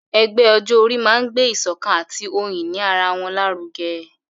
Ẹgbẹ́ ọjọ́ orí máa ń gbé ìsọ̀kan àti ohun ìní ara wọn lárugẹ.